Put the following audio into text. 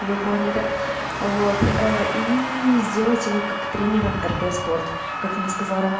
вы поняли вот и сделать его как тренером рд спорт как мне сказал роман